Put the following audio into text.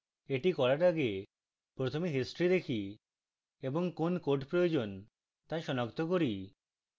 এটি করার আগে প্রথমে history দেখি এবং code code প্রয়োজন তা সনাক্ত করি